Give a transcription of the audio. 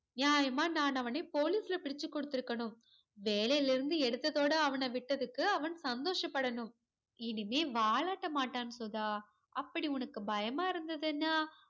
நாயமா நான் அவனை police ல புடிச்சி கொடுத்துருக்கணும் வேலைல இருந்து எடுத்ததோட அவன விட்டதுக்கு அவன் சந்தோஷபடனும் இனிமே வாலாட்டமாட்டன் சுதா அப்படி உனக்கு பயமா இருந்ததுனா